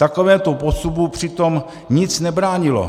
Takovémuto postupu přitom nic nebránilo.